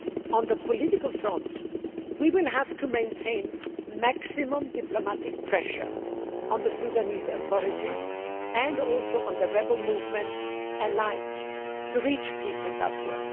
On the political front, we will have to maintain maximum diplomatic pressure on the Sudanese authorities and the rebel movements alike to reach peace in Darfur.